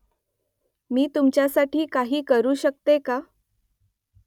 मी तुमच्यासाठी काही करू शकतो का ?